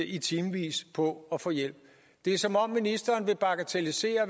i timevis på at få hjælp det er som om ministeren vil bagatellisere